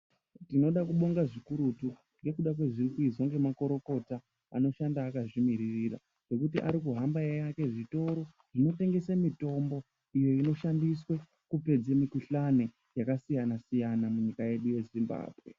Tinoda kubonga zvikurutu ngekuda kwezvirikuitwa nemakurukota anoshanda akazvimirira ngekuti arikuhamba eiake zvitoro zvinotengese mitombo iyo inoshandiswe kupedze mikhuhlani yakasiyana siyana munyika yedu yeZimbabwe.